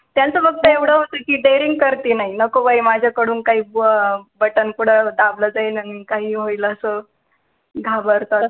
त्यांचं फक्त एव्हड होतं कि daring करती नाई, नको बाई माझा कडून काई button कुठं दाबला जाईल आणि काही होईल असं, घाबरतात ते